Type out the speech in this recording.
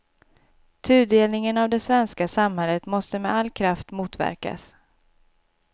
Tudelningen av det svenska samhället måste med all kraft motverkas.